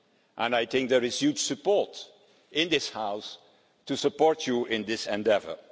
And I think there is huge support in this House to support you in this endeavour.